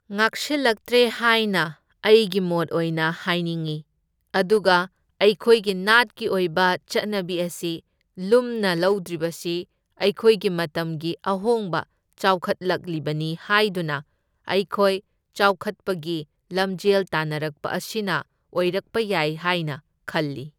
ꯉꯥꯛꯁꯤꯜꯂꯛꯇ꯭ꯔꯦ ꯍꯥꯏꯅ ꯑꯩꯒꯤ ꯃꯣꯠ ꯑꯣꯏꯅ ꯍꯥꯏꯅꯤꯡꯏ, ꯑꯗꯨꯒ ꯑꯩꯈꯣꯏꯒꯤ ꯅꯥꯠꯀꯤ ꯑꯣꯏꯕ ꯆꯠꯅꯕꯤ ꯑꯁꯤ ꯂꯨꯝꯅ ꯂꯧꯗ꯭ꯔꯤꯕꯁꯤ ꯑꯩꯈꯣꯏꯒꯤ ꯃꯇꯝꯒꯤ ꯑꯍꯣꯡꯕ ꯆꯥꯎꯈꯠꯂꯛꯂꯤꯕꯅꯤ ꯍꯥꯢꯗꯨꯅ ꯑꯩꯈꯣꯏ ꯆꯥꯎꯈꯠꯄꯒꯤ ꯂꯝꯖꯦꯜ ꯇꯥꯟꯅꯔꯛꯄ ꯑꯁꯤꯅ ꯑꯣꯏꯔꯛꯄ ꯌꯥꯏ ꯍꯥꯏꯅ ꯈꯜꯂꯤ꯫